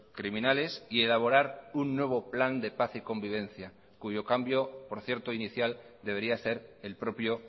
criminales y elaborar un nuevo plan de paz y convivencia cuyo cambio por cierto inicial debería ser el propio